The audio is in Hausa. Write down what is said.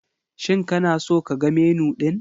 Shin kana so ka ga Menu ɗin?